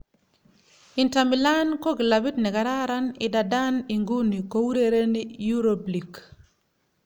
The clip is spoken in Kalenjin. Inter Milan ko kilabit nekararan idadan iguni kourereni Europe League.